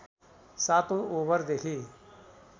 सातौं ओभरदेखि